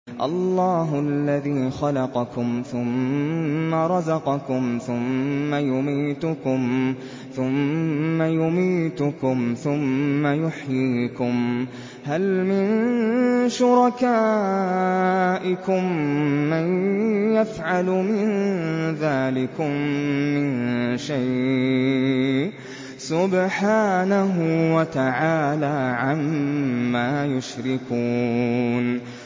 اللَّهُ الَّذِي خَلَقَكُمْ ثُمَّ رَزَقَكُمْ ثُمَّ يُمِيتُكُمْ ثُمَّ يُحْيِيكُمْ ۖ هَلْ مِن شُرَكَائِكُم مَّن يَفْعَلُ مِن ذَٰلِكُم مِّن شَيْءٍ ۚ سُبْحَانَهُ وَتَعَالَىٰ عَمَّا يُشْرِكُونَ